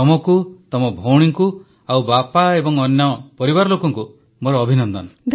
ତମକୁ ତମ ଭଉଣୀଙ୍କୁ ଆଉ ବାପା ଓ ଅନ୍ୟ ପରିବାର ଲୋକଙ୍କୁ ମୋର ଅଭିନନ୍ଦନ